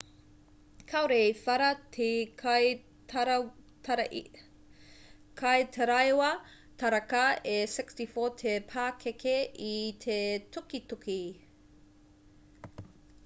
kāore i whara te kaitaraiwa taraka e 64 te pakeke i te tukituki